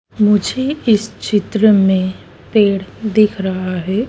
मुझे इस चित्र में पेड़ दिख रहा है।